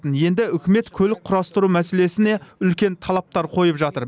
енді үкімет көлік құрастыру мәселесіне үлкен талаптар қойып жатыр